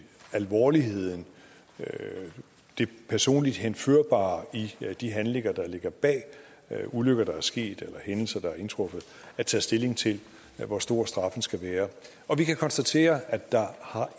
alvorligheden og det personligt henførbare i de handlinger der ligger bag ulykker der er sket eller hændelser der er indtruffet at tage stilling til hvor stor straffen skal være og vi kan konstatere at der